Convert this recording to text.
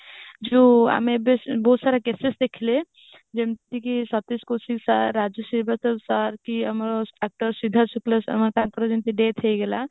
ଯୋଊ ଆମେ ଏବେ ନାହୁତ ସାରା cases ଦେଖିଲେ ଯେମିତି କି death ହେଇଗଲା ମାନେ